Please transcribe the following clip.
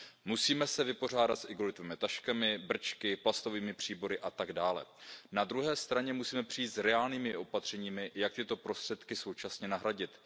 Musíme se vypořádat s igelitovými taškami, brčky, plastovými příbory atd. Na druhé straně musíme přijít s reálnými opatřeními, jak tyto prostředky současně nahradit.